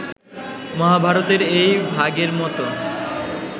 মহাভারতের এই ভাগের মত